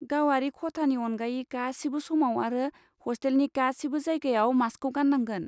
गावारि खथानि अनगायै गासिबो समाव आरो हस्टेलनि गासिबो जायगायाव मास्कखौ गाननांगोन।